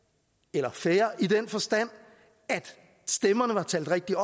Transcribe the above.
var fair i den forstand at stemmerne var talt rigtigt